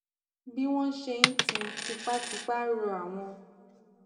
bí wón ṣe ń ti tipatipa rọ àwọn